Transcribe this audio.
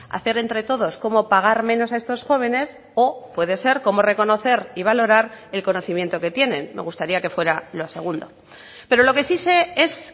hacer entre todos cómo pagar menos a estos jóvenes o puede ser cómo reconocer y valorar el conocimiento que tienen me gustaría que fuera lo segundo pero lo que sí sé es